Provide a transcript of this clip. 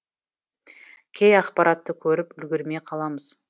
кей ақпаратты көріп үлгермей қаламыз